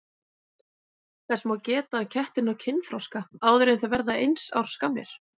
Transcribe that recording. Þess má geta að kettir ná kynþroska áður en þeir verða eins árs gamlir.